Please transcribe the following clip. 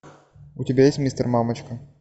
у тебя есть мистер мамочка